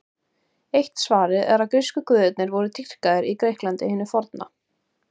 Eitt svarið er að grísku guðirnir voru dýrkaðir í Grikklandi hinu forna.